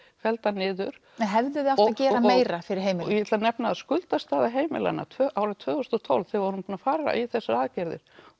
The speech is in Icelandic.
felldar niður hefðuð þið átt að gera meira fyrir heimilin ég ætla að nefna að skuldastaða heimilanna árið tvö þúsund og tólf þegar við vorum búin að fara í þessar aðgerðir